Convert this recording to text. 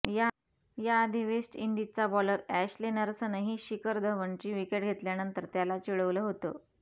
याआधी वेस्ट इंडिजचा bowler Ashley नर्सनंही शिखर धवनची विकेट घेतल्यानंतर त्याला चि़डवलं होतं